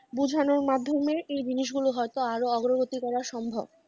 বোঝানোর মাধ্যমে এই জিনিসগুলো হয়তো আরো অগ্রগতি করা সম্ভব ।